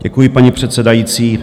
Děkuji, paní předsedající.